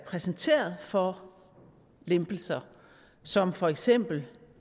præsenteret for lempelser som for eksempel